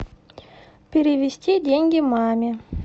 перевести деньги маме